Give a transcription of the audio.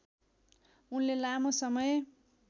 उनले लामो समय